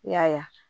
Y'a ye